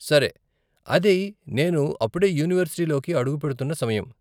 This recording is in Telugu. సరే, అది నేను అప్పుడే యూనివర్సిటీలోకి అడుగు పెడుతున్న సమయం.